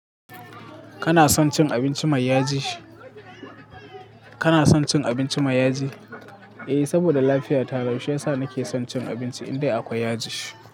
Kana son cin abinci mai yaji? Kana son cin abinci mai yaji? Eh, saboda lafiya ta rau, shi yasa na ke son cin abinci indai akwai yaji.